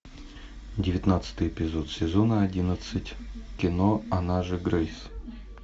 девятнадцатый эпизод сезона одиннадцать кино она же грейс